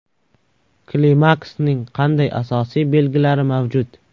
Klimaksning qanday asosiy belgilari mavjud ?